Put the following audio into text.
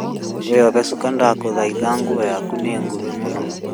Wĩyohe cuka ndagũthaitha nguo yaku nĩ nguhĩ mũno